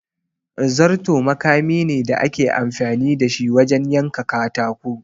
Zarto makami ne da ake amfani da shi wajen yanka katako.